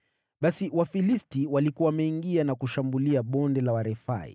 Basi Wafilisti walikuwa wameingia na kushambulia Bonde la Warefai,